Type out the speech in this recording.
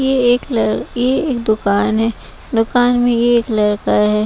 यह एक लड़ यह एक दुकान है दुकान में ही एक लड़का है।